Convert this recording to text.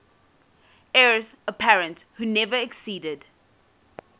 heirs apparent who never acceded